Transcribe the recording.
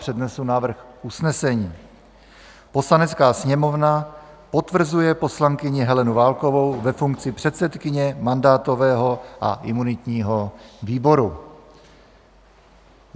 Přednesu návrh usnesení: "Poslanecká sněmovna potvrzuje poslankyni Helenu Válkovou ve funkci předsedkyně mandátového a imunitního výboru."